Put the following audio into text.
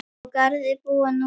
Á Garði búa nú